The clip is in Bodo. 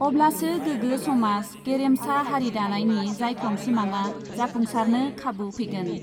अब्लासो गोगो समाज, गेरेमसा हारि दानायनि जाइख्लं सिमाङा जाफुंसारनो खाबु फैगोन।